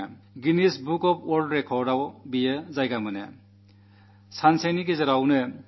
അതിന് Guinness book of world റെക്കാഡ്സിൽ ഇടം കിട്ടി